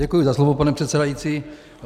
Děkuji za slovo, pane předsedající.